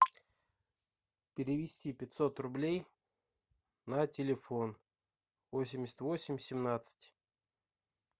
перевести пятьсот рублей на телефон восемьдесят восемь семнадцать